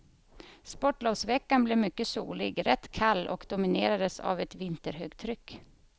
Sportlovsveckan blev mycket solig, rätt kall och dominerades av ett vinterhögtryck.